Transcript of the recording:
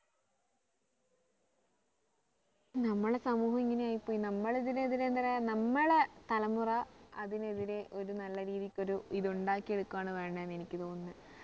നമ്മളെ സമൂഹം ഇങ്ങനെ ആയി പോയി നമ്മള് ഇതിനെതിരെ എന്തിനാ നമ്മളെ തലമുറ അതിനെതിരെ ഒരു നല്ല രീതിക്ക് ഒരു ഇത് ഉണ്ടാക്കി എടുക്കുവാണ് വേണ്ടത് എനിക്ക് തോന്നുന്നത്